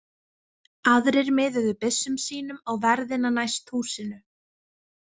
Aðrir miðuðu byssum sínum á verðina næst húsinu.